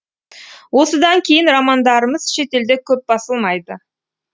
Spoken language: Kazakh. осыдан кейін романдарымыз шетелде көп басылмайды